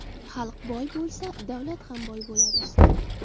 Xalq boy bo‘lsa, davlat ham boy bo‘ladi.